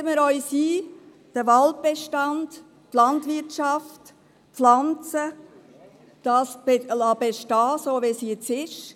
Setzen wir uns dafür ein, den Waldbestand, die Landwirtschaft und die Pflanzen so bestehen zu lassen, wie sie heute sind.